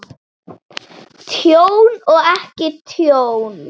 Tjón og ekki tjón?